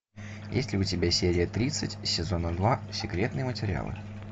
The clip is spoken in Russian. есть ли у тебя серия тридцать сезона два секретные материалы